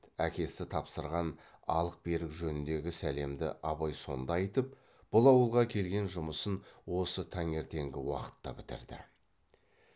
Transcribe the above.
әкесі тапсырған алық берік жөніндегі сәлемді абай сонда айтып бұл ауылға келген жұмысын осы таңертеңгі уақытта бітірді